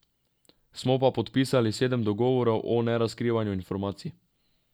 Smo pa podpisali sedem dogovorov o nerazkrivanju informacij.